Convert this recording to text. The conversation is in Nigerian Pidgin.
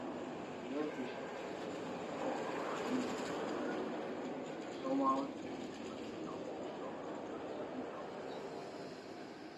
to hear patient um talk and no look dem somehow dey make hospital work soft and sabi how person dey reason